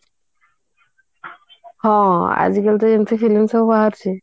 ହଁ ଆଜିକାଲି ଏମିତି film ସବୁ ବାହାରୁଛି